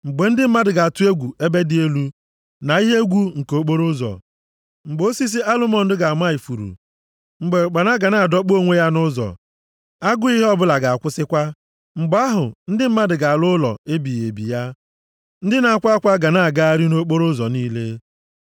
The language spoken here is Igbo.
mgbe ndị mmadụ ga-atụ egwu ebe dị elu; na ihe egwu nke okporoụzọ, mgbe osisi alụmọnd ga-ama ifuru mgbe ụkpana ga na-adọkpụ onwe ya nʼụzọ, agụụ ihe ọbụla ga-akwụsịkwa. Mgbe ahụ, ndị mmadụ ga-ala ụlọ ebighị ebi ya, ndị na-akwa akwa ga na-agagharị nʼokporoụzọ niile.